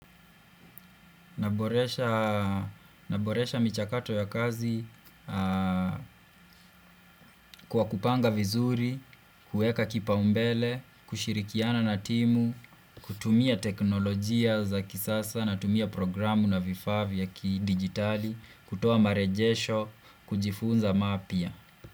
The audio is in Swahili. Naboresha michakato ya kazi kwa kupanga vizuri, kueka kipaumbele, kushirikiana na timu, kutumia teknolojia za kisasa natumia programu na vifaa vya kidigitali, kutoa marejesho, kujifunza mapya.